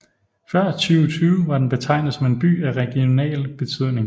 Før 2020 var den betegnet som en by af regional betydning